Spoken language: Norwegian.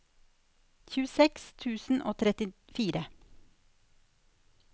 tjueseks tusen og trettifire